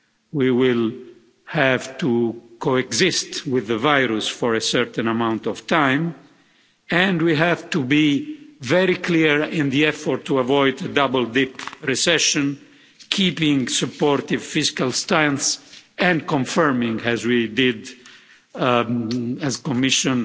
We will have to coexist with the virus for a certain amount of time and we have to be very clear in the effort to avoid a double dip recession, keeping supportive fiscal stance and confirming as we did, as Commission,